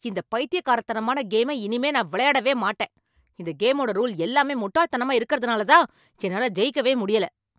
இந்த பைத்தியக்காரத்தனமான கேம இனிமே நான் விளையாடவே மாட்டேன். இந்த கேமோட ரூல் எல்லாமே முட்டாள்தனமா இருக்கறதுனாலதான், என்னால ஜெயிக்கவே முடியல.